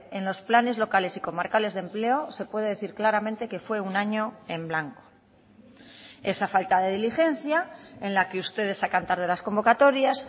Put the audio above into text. en los planes locales y comarcales de empleo se puede decir claramente que fue un año en blanco esa falta de diligencia en la que ustedes sacan tarde las convocatorias